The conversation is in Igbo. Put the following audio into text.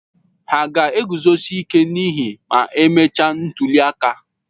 Hà ga-eguzosi ike n'ihe ma emechaa ntuli aka?